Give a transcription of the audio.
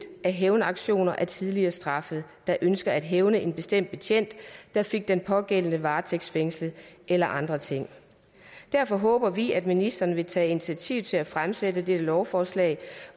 af hævnaktioner af tidligere straffede der ønsker at hævne sig på en bestemt betjent der fik den pågældende varetægtsfængslet eller andre ting derfor håber vi at ministeren vil tage initiativ til at fremsætte et lovforslag